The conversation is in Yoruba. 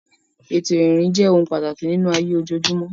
Ètò ìrìn jẹ́ ohun pàtàkì nínú ayé ojoojúmọ́.